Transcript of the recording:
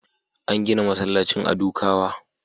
An gina masallacin a Dukawa.